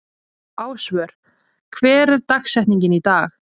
Ásvör, hver er dagsetningin í dag?